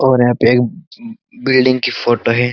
और यहाँ पे एक बिल्डिंग की फोटो है।